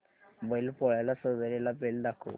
बैल पोळ्याला सजवलेला बैल दाखव